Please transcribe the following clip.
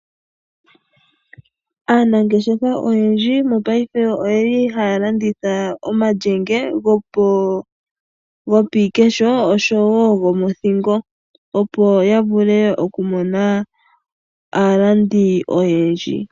Aanangeshefa oyendji mongaashingeyi oye li haya landitha omalyenge go piikesho oshowo gomothingo opo ya vule okumona aalandi oyendji.